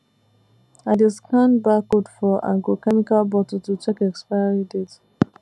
i dey scan barcode for agrochemical bottle to check expiry date